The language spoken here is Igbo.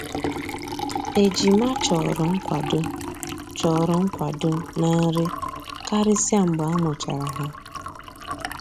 Ejima chọrọ nkwado chọrọ nkwado na nri karịsịa mgbe a mụchara ha